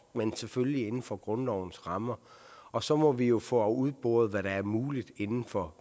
men selvfølgelig inden for grundlovens rammer og så må vi jo få udboret hvad der er muligt inden for